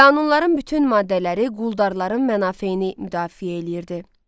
Qanunların bütün maddələri quldarların mənafeini müdafiə eləyirdi.